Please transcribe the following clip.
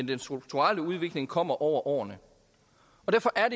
den strukturelle udvikling kommer over årene derfor er